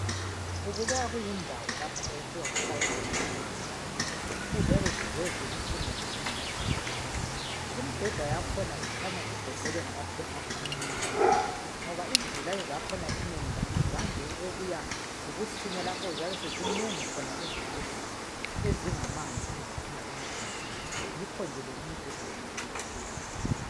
Kubukeka kuyindawo lapha okufika kufakwe khona izigulane. Eziyabe zize zikusimo esingasihle imbeda yakhona kukhanya igoqelwe ngamaphepha amnyama. Ngoba izigulane zakhona inengilazo zande ukubuya zikusimo lapho eziyabe sezinengi khona ezivuzayo ezingamanzi eziphuma emzimbeni. Yikho nje le imibheda imele ivikeleke.